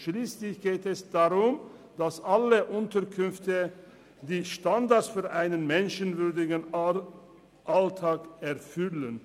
Schliesslich geht es darum, dass alle Unterkünfte die Standards für einen menschenwürdigen Alltag erfüllen.